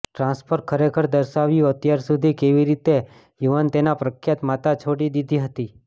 transfer ખરેખર દર્શાવ્યું અત્યાર સુધી કેવી રીતે યુવાન તેના પ્રખ્યાત માતા છોડી દીધી હતી